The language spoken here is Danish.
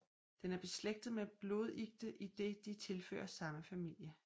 Den er beslægtet med blodikter idet de tilhører samme familie